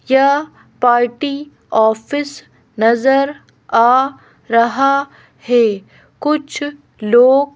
यह party office नजर आ रहा है कुछ लोग--